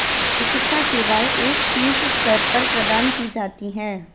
चिकित्सा सेवाएं एक शीर्ष स्तर पर प्रदान की जाती हैं